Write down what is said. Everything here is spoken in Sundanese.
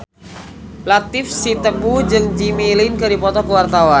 Latief Sitepu jeung Jimmy Lin keur dipoto ku wartawan